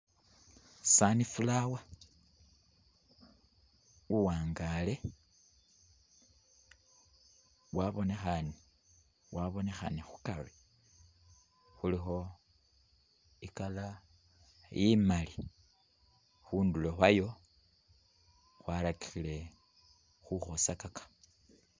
Sunflower uwangaale wabonekhane khukari khulikho i'colour imali, khundulo khwayo khwarakikhile khukhosakaka.